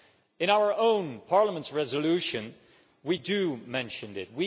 In our own Parliament's resolution, we do mention it.